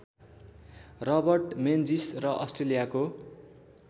Robert Menzies र अस्ट्रेलियाको